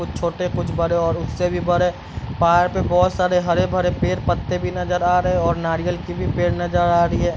कुछ छोटे कुछ बड़े और उससे से भी बड़े पहाड़ पे बहुत सारे हरे-भरे पेड़ पत्ते भी नजर आ रहे हैं और नारियल की भी पेड़ भी नजर आ रही है।